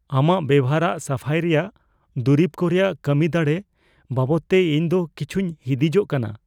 ᱟᱢᱟᱜ ᱵᱮᱵᱚᱦᱟᱨᱟᱜ ᱥᱟᱯᱷᱟᱭ ᱨᱮᱭᱟᱜ ᱫᱩᱨᱤᱵ ᱠᱚ ᱨᱮᱭᱟᱜ ᱠᱟᱹᱢᱤᱫᱟᱲᱮ ᱵᱟᱵᱚᱫᱛᱮ ᱤᱧ ᱫᱚ ᱠᱤᱪᱷᱩᱧ ᱦᱤᱸᱫᱤᱡᱚᱜ ᱠᱟᱱᱟ ᱾